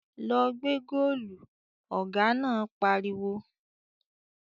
"Lọ gbẹ́ góòlù!" Ọ̀gá náà pariwo